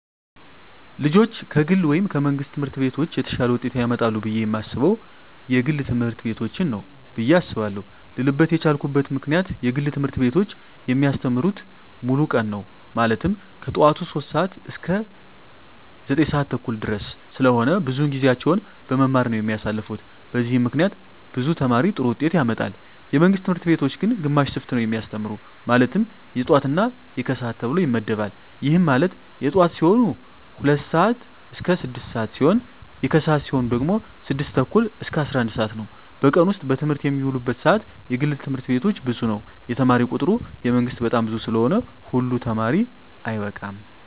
ልጆች ከግል ወይም ከመንግሥት ትምህርት ቤቶች የተሻለ ውጤት ያመጣሉ ብየ የማስበው የግል ትምህርት ቤቶችን ነው ብየ አስባለው ልልበት የቻልኩት ምክንያት የግል ትምህርት ቤቶች የሚያስተምሩት ሙሉ ቀን ነው ማለትም ከጠዋቱ 3:00 ሰዓት እስከ 9:30 ድረስ ስለሆነ ብዙውን ጊዜያቸውን በመማማር ነው የሚያሳልፉት በዚህም ምክንያት ብዙ ተማሪ ጥሩ ውጤት ያመጣል። የመንግስት ትምህርት ቤቶች ግን ግማሽ ሽፍት ነው የሚያስተምሩ ማለትም የጠዋት እና የከሰዓት ተብሎ ይመደባል ይህም ማለት የጠዋት ሲሆኑ 2:00 ስዓት እስከ 6:00 ሲሆን የከሰዓት ሲሆኑ ደግሞ 6:30 እስከ 11:00 ነው በቀን ውስጥ በትምህርት የሚውሉበት ሰዓት የግል ትምህርት ቤቶች ብዙ ነው የተማሪ ቁጥሩ የመንግስት በጣም ብዙ ስለሆነ ሁሉ ተማሪ አይበቃም።